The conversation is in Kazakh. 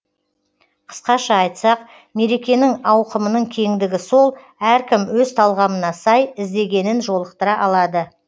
қысқаша айтсақ мерекенің ауқымының кеңдігі сол әркім өз талғамына сай іздегенін жолықтыра алады